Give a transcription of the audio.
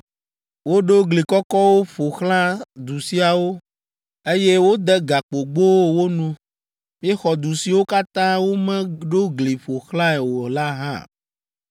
Woɖo gli kɔkɔwo ƒo xlã du siawo, eye wode gakpogbowo wo nu. Míexɔ du siwo katã womeɖo gli ƒo xlãe o la hã.